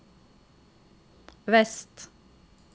vest